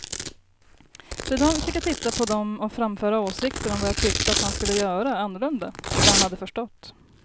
Sedan fick jag titta på dem och framföra åsikter om vad jag tyckte att han skulle göra annorlunda och vad han hade förstått.